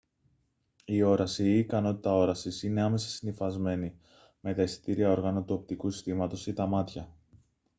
η όραση ή η ικανότητα όρασης είναι άμεσα συνυφασμένη με τα αισθητήρια όργανα του οπτικού συστήματος ή τα μάτια